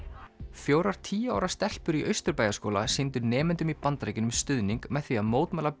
fjórar tíu ára stelpur í Austurbæjarskóla sýndu nemendum í Bandaríkjunum stuðning með því að mótmæla